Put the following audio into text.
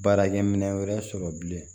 Baarakɛ minɛ wɛrɛ sɔrɔ bilen